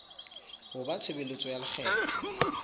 ho ba tshebeletso ya lekgetho